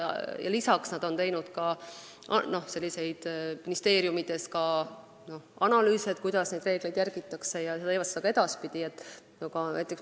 Peale selle on nad teinud ministeeriumides analüüse selle kohta, kuidas reegleid järgitakse, ja teevad ka edaspidi.